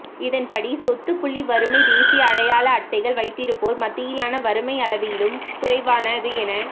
இதன்படி சொத்து புள்ளி வறுமை தேசிய அடையாள அட்டைகள் வைத்திருப்போர் மத்தியிலான வறுமை அளவிலும் குறைவானது என